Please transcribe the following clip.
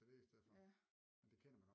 Så det i stedet for men det kender man